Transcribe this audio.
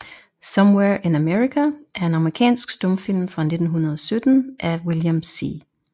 Somewhere in America er en amerikansk stumfilm fra 1917 af William C